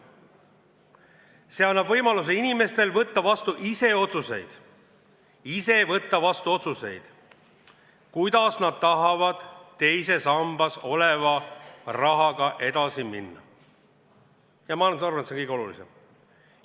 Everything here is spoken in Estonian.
See annab neile võimaluse võtta ise vastu otsuseid, kuidas teises sambas oleva rahaga edasi minna, ja ma arvan, et see ongi kõige olulisem.